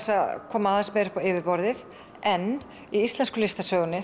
að koma aðeins meira upp á yfirborðið en í íslensku listasögunni